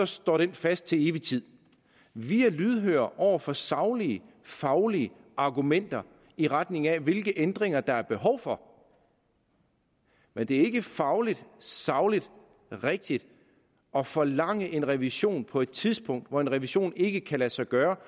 står fast til evig tid vi er lydhøre over for saglige faglige argumenter i retning af hvilke ændringer der er behov for men det er ikke fagligt sagligt rigtigt at forlange en revision på et tidspunkt hvor en revision ikke kan lade sig gøre